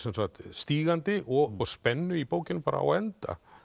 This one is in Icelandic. stígandi og spennu í bókinni bara á enda